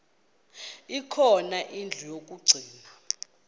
khona indlu yokagcina